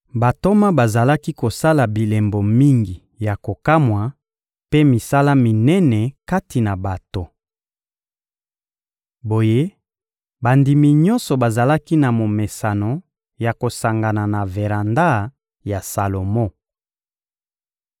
Bantoma bazalaki kosala bilembo mingi ya kokamwa mpe misala minene kati na bato. Boye, bandimi nyonso bazalaki na momesano ya kosangana na veranda ya Salomo.